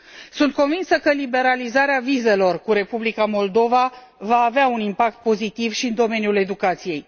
Sunt convinsă că liberalizarea vizelor cu Republica Moldova va avea un impact pozitiv și în domeniul educației.